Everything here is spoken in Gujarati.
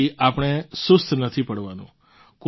આથી આપણે સુસ્ત નથી પડવાનું